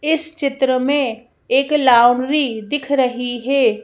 इस चित्र में एक लाउंड्री दिख रही है।